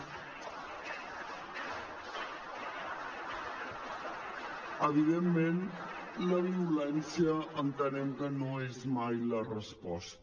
evidentment la violència entenem que no és mai la resposta